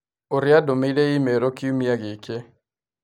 ũrĩa andũmĩire i-mīrū kiumia gĩkĩ